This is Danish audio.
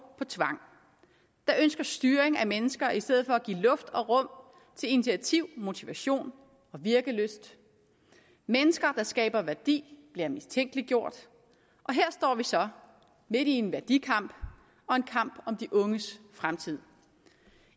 på tvang der ønsker styring af mennesker i stedet for at give luft og rum til initiativ motivation og virkelyst mennesker der skaber værdi bliver mistænkeliggjort her står vi så midt i en værdikamp og en kamp om de unges fremtid